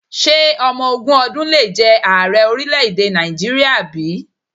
Ṣé ọmọ ogún ọdún le jẹ ààrẹ orílẹ̀-èdè Nàìjíríà bí?